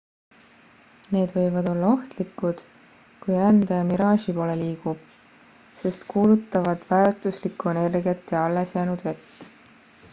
need võivad olla ohtlikud kui rändaja miraaži poole liigub sest kulutavad väärtuslikku energiat ja allesjäänud vett